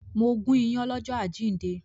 Mo gún ìyàn lọ́jọ́ àjíǹde